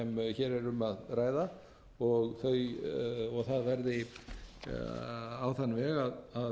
hér er um að hraða og það verði á þann veg að